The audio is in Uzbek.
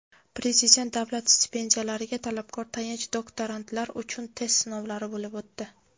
Prezident davlat stipendiyalariga talabgor tayanch doktorantlar uchun test sinovlari bo‘lib o‘tdi.